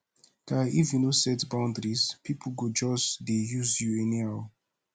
guy if you no set boundaries pipo go just dey use you anyhow